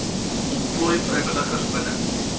ontplooi vrywilligers binne